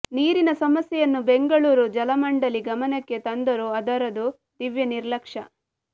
ನೀರಿನ ಸಮಸ್ಯೆಯನ್ನು ಬೆಂಗಳೂರು ಜಲಮಂಡಲಿ ಗಮನಕ್ಕೆ ತಂದರೂ ಅದರದು ದಿವ್ಯ ನಿರ್ಲಕ್ಷ್ಯ